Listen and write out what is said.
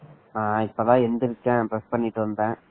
நான் இப்பதான் எந்திரிச்சேன் bursh பண்ணிக்கிட்டு இருந்த